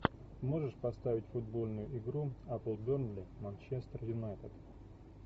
можешь поставить футбольную игру апл бернли манчестер юнайтед